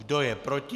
Kdo je proti?